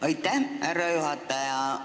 Aitäh, härra juhataja!